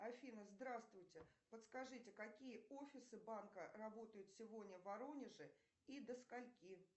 афина здравствуйте подскажите какие офисы банка работают сегодня в воронеже и до скольки